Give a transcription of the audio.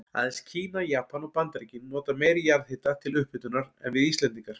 Aðeins Kína, Japan og Bandaríkin nota meiri jarðhita til upphitunar en við Íslendingar.